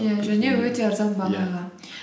иә және өте арзан бағаға